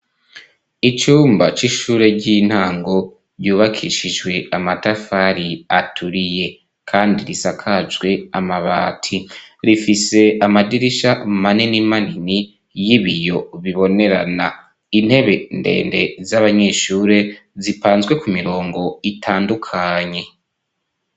Icumba c'ishure ry'intango ryubakishijwe amatafari aturiye kandi risakajwe amabati rifise amadirisha manini manini y'ibiyo bibonerana intebe ndende z'abanyeshure zipanzwe ku mirongo itandukanye.